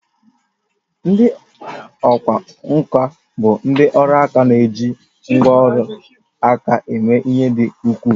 Ndị ọkwá nkà bụ ndị ọrụ aka na-eji ngwá ọrụ aka eme ihe dị ukwuu